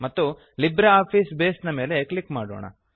ಮತ್ತು LibreOffice base ಮೇಲೆ click ಮಾಡೋಣ